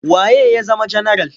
Wa ye ya zama janaral?